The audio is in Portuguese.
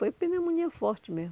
Foi pneumonia forte mesmo.